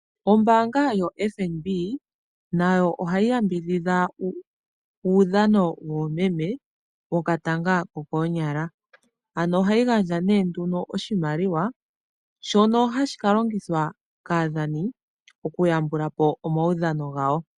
Ombaanga yoFNB, nayo ohayi yambidhidha uudhano woomeme, wokatanga kokoonyala. Ano ohayi gandja nee nduno oshimaliwa, shono hashi ka longithwa kaadhani, okuyambula po omaudhano gawo.